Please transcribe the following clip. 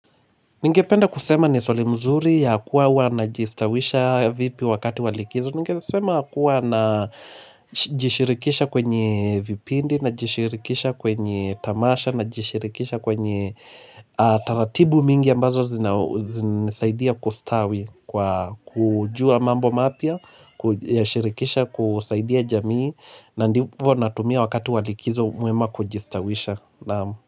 Ningependa kusema ni swali mzuri ya kuwa wana jistawisha vipi wakati walikizo Ningesema kuwa na jishirikisha kwenye vipindi na jishirikisha kwenye tamasha na jishirikisha kwenye taratibu mingi ambazo zinasaidia kustawi kujua mambo mapya, kushirikisha kusaidia jamii na ndivo natumia wakati walikizo mwema kujistawisha.